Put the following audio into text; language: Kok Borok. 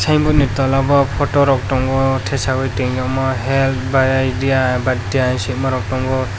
tei boni tola o photo rok tango tesayoe tongyama health bai idya baitia swimarok tongo.